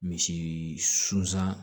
Misi sunsan